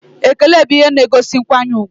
Ekele bụ ihe na-egosi nkwanye ùgwù